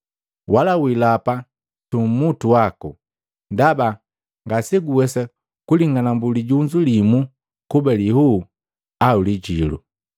Wala wilapa su umutu waku, ndaba ngaseguwesa kuling'anambu lijunzu limu kuba lihuu au lijilu.